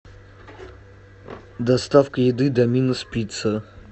доставка еды доминос пицца